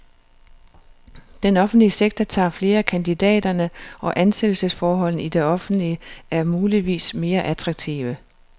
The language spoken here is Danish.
Den offentlige sektor tager flere af kandidaterne, og ansættelsesforholdene i det offentlige er muligvis mere attraktive.